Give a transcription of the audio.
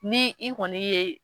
Ni i kɔni ye.